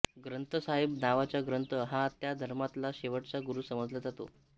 ग्रंथसाहेब नावाचा ग्रंथ हा त्या धर्मातला शेवटचा गुरू समजला जातो